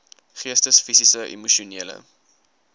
geestes fisiese emosionele